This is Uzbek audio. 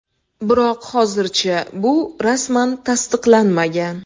Biroq hozircha bu rasman tasdiqlanmagan.